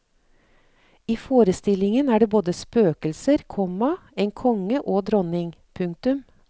I forestillingen er det både spøkelser, komma en konge og dronning. punktum